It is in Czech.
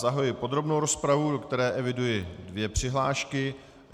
Zahajuji podrobnou rozpravu, do které eviduji dvě přihlášky.